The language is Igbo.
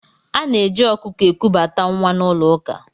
Ana-eji ọkụkọ ekubata nwa n'ụlọ ụka.